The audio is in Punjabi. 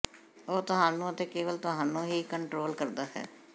ਉਹ ਤੁਹਾਨੂੰ ਅਤੇ ਕੇਵਲ ਤੁਹਾਨੂੰ ਹੀ ਕੰਟਰੋਲ ਕਰਦਾ ਹੈ